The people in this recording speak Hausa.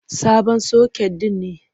Sabon soket ɗin ne.